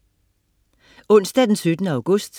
Onsdag den 17. august